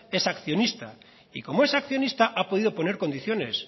es accionista y como es accionista ha podido poner condiciones